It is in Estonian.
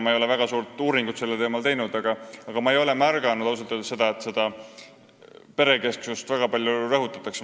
Ma ei ole väga suurt uuringut sellel teemal teinud, aga ma ei ole ausalt öeldes märganud, et seda perekesksust väga palju rõhutataks.